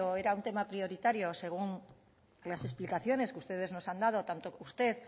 era un tema prioritario según las explicaciones que ustedes nos han dado tanto usted